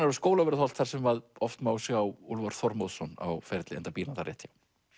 á Skólavörðuholt þar sem oft má sjá Úlfar Þormóðsson á ferli enda býr hann þar rétt hjá